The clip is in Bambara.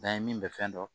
N'an ye min bɛ fɛn dɔn